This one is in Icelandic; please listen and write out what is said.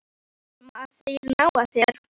Ertu hræddur um að þeir nái þér?